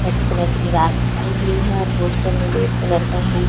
कथई कलर की दीवार पुताई हुई है पोस्टर भी रेड कलर का है ।